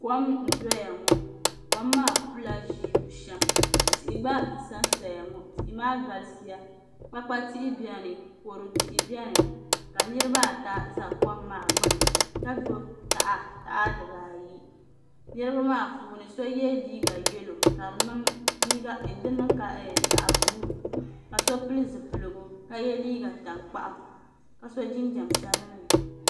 Kom n doya ŋo kom maa pula ʒii bushɛm tihi gba n sansaya ŋo tihi maa galisiya kpa kpa tihi biɛni kodu tihi biɛni ka niraba ata ʒɛ kom maa gbuni ka gbubi taha dibaayi niraba maa puuni so yɛ liiga yɛlo ka di niŋ ka zaɣ buluu ka so pili zipiligu ka yɛ liiga tankpaɣu ka so jinjɛm sabinli